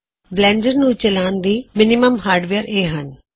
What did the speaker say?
Blender ਨੂੰ ਚਲਾਓੁਣ ਲਈ ਘੱਟ ਤੋ ਘੱਟ ਜਰੂਰੀ ਹਾਰਡਵੇਅਰ ਇਹ ਹਨ